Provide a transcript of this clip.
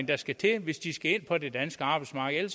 der skal til hvis de skal ind på det danske arbejdsmarked